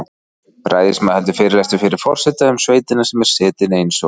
Ræðismaður heldur fyrirlestur fyrir forseta um sveitina sem er setin eins og